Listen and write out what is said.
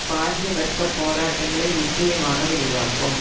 பாரிய வர்க்க போராட்டங்களை நிச்சயமாக விரிவாக்கும்